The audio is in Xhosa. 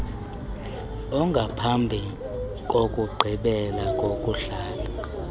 ongamphambi kokugqibela kokuhlala